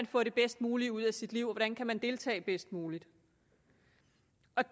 få det bedst mulige ud af sit liv og man kan deltage bedst muligt